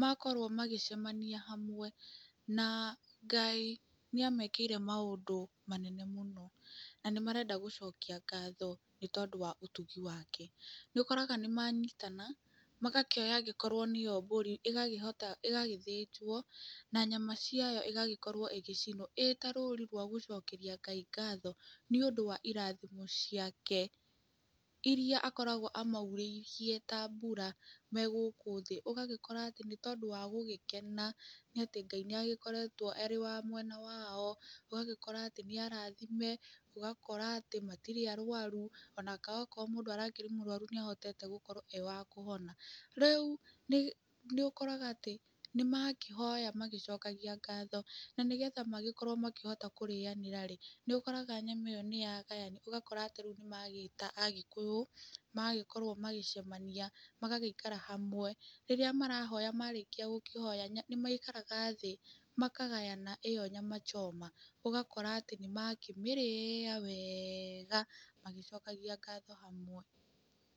makorwo magĩcemania hamwe, na Ngai nĩamekĩire maũndũ manene mũno, na nĩmarenda gũcokia ngatho nĩũtugi wake, nĩũkoraga nĩ manyitana, ũgakora nĩmakĩoya akorwo nĩ ĩyo mbũri, ĩgagĩthĩnjwo, na nyama ciayo igagĩkorwo igĩcinwo, ĩtarũri rwa gũcokeria Ngai ngatho nĩ ũndũ wa irathimo ciake, iria akoragwo amaurĩirie ta mbura megũkũ thĩ, nokona nĩũndũ wa gũgĩkena, nĩatĩ Ngai nĩ agĩkoretwo arĩ wa mwena wao, ũgagĩkora atĩ nĩ arathime, ũgakora atĩ matirĩ arwaru, ona angĩkorwo mũndũ arakĩrĩ mũrwaru nĩahotete gũkorwo wa kũhona. Rĩũ nĩ ũkoraga nĩmakĩhoya magĩcokagia ngatho, na nĩgetha makĩhote gũkorwo makĩrĩanĩra-rĩ, nĩũkoraga nyama ĩyo nĩ yagayanio. Meta agĩkũyũ magagĩkorwo magĩcemania, magagĩikara hamwe, rĩrĩa marahoya marĩkia kũhoya nĩ maikaraga thĩ, makagayana ĩyo Nyama Choma, ũgagĩkora nĩ mamĩrĩya wega, magĩcokagia ngatho hamwe.